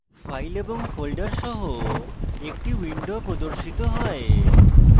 files এবং folders সহ একটি window প্রর্দশিত হয়